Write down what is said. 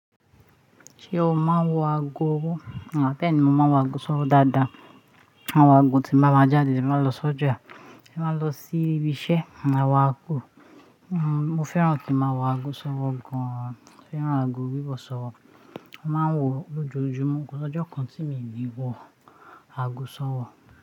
Ṣé o máa ń wọ ago ọwọ́? Beeni mo máa ń wọ ago ṣọwọ́ dáadáa. Mo ma wo ago tí máa má j'ade tí màá lọ s'oja, tí màá lọ sí ibi iṣẹ́, mo ma wọ̀ ago. Mo fẹ́ràn kí n máa wọ ago ṣọwọ́ gan. Mo fẹ́ràn ago wíwọ̀ ṣọwọ́. Mo máa ń wọ lojojúmọ́, kò sí ọjọ́ kan tí míì ò ní wọ ago ṣọwọ́.